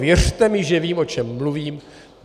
Věřte mi, že vím, o čem mluvím.